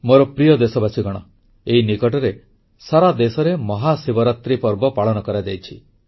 ମୋର ପ୍ରିୟ ଦେଶବାସୀଗଣ ଏଇ ନିକଟରେ ସାରା ଦେଶରେ ମହାଶିବରାତ୍ରୀ ପର୍ବ ପାଳନ କରାଯାଇଛି